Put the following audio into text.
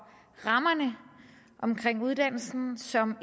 rammerne omkring uddannelsen som